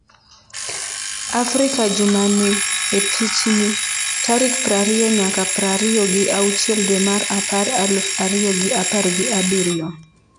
Afrika juma ni e pichni: tarik prariyo nyaka prariyo gi auchiel dwe mar apar aluf ariyo gi apar gi abirio